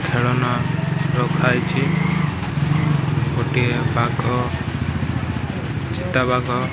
ଖେଳନା ରଖାହେଇଚି। ଗୋଟିଏ ବାଘ ଚିତାବାଘ --